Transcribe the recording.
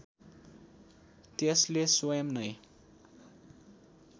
त्यसले स्वयम् नैं